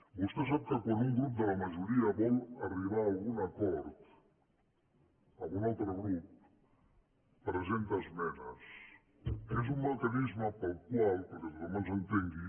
vostè sap que quan un grup de la majoria vol arribar a al·gun acord amb un altre grup presenta esmenes que és un mecanisme pel qual perquè tothom ens entengui